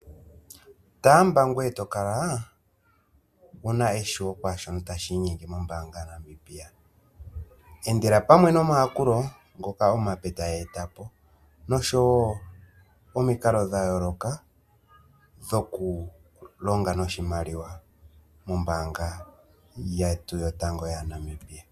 Taamba ngweye to kala wu na eshiwo kwaashono tashi inyenge mombaanga yaNamibia. Endela pamwe nomayakulo ngoka omape taya eta po, noshowo omikalo dha yooloka dhoku longa noshimaliwa nombaanga yetu yotango yaNamibia .